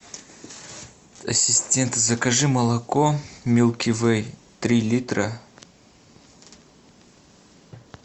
ассистент закажи молоко милки вей три литра